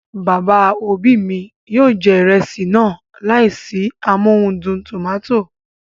Bàbá òbí mi yóò jẹ ìrẹsì náà láìsí amóhudùn tòmátò